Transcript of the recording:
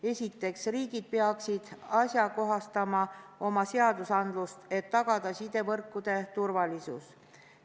Esiteks, riigid peaksid ajakohastama oma seadusandlust, et tagada sidevõrkude turvalisus.